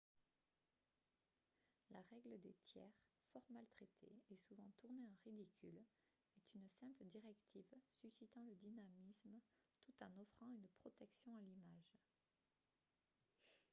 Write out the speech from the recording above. la règle des tiers fort maltraitée et souvent tournée en ridicule est une simple directive suscitant le dynamisme tout en offrant une protection à l'image